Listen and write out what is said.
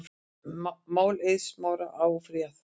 Máli Eiðs Smára áfrýjað